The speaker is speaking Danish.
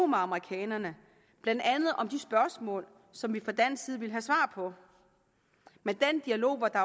med amerikanerne blandt andet om de spørgsmål som vi fra dansk side ville have svar på men den dialog var der